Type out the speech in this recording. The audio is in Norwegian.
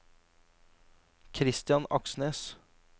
Kristian Aksnes